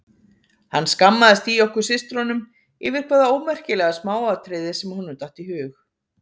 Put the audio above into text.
Hann skammaðist í okkur systrunum yfir hvaða ómerkilega smáatriði sem honum datt í hug.